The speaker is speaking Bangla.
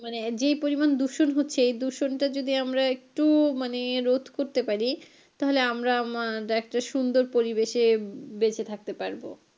মানে যেই পরিমান দূষণ হচ্ছে এই দূষণটা যদি আমরা একটু মানে রোধ করতে পারি তাহলে আমরা আমরা একটা সুন্দর পরিবেশে বেঁচে থাকতে পারবো।